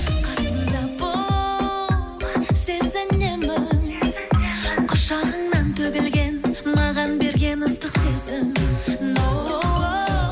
қасымда бол сезінемін құшағыңнан төгілген маған берген ыстық сезім ноу